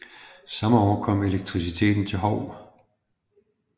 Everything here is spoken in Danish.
Samme år kom elektriciteten til Hou